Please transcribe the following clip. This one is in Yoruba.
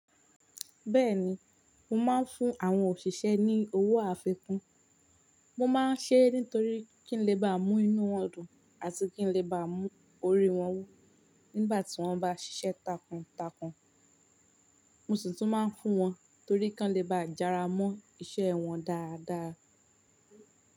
Bẹ́ẹ̀ni, mo máa ń fún àwọn òṣìṣẹ́ ní owó àfikún. Mo máa ń ṣe é nítorí kí n lè ba mú inú wọn dùn àti kí n lè ba mú orí wọn wú nígbà tí wọ́n bá ṣiṣẹ́ takuntakun. Mo sì tún máa ń fún wọn torí kí wọ́n lè ba jára mọ́ iṣẹ́ wọn dáadáa.